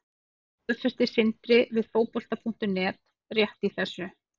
Þetta staðfesti Sindri við Fótbolta.net rétt í þessu.